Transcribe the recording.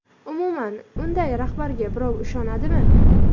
Umuman, unday rahbarga birov ishonadimi?